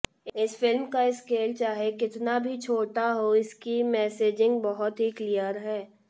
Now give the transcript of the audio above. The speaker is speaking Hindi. इस फिल्म का स्केल चाहे कितना भी छोटा हो इसकी मेसेजिंग बहुत ही क्लियर है